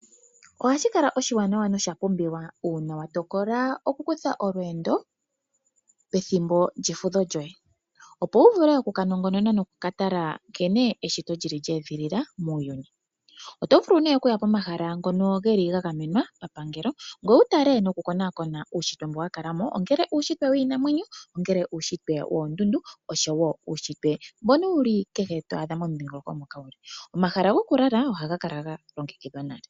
Ohashi kala oshiwanawa no sha pumbiwa uuna wa tokola oku kutha olweendo pethimbo lyefudho lyoye ,opo wu vule oku ka nongonona noku ka tala nkene eshito li li lyeedhilila muuyuni. Oto vulu oku ya komahala ngono geli ga gamenwa pa pangelo ngoye wu tale noku konaakona uushitwe mboka wa kala mo ,ngele uushitwe wiinamwenyo , ngele uushitwe woondundu osho woo uushitwe mbono wuli kehe twaadha, mboka wuli momudhingoloko mpoka wuli. Omahala go ku lala ohaya kala ga longekidhwa nale .